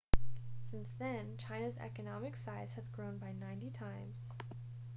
since then china's economic size has grown by 90 times